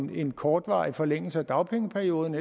til en kortvarig forlængelse af dagpengeperioden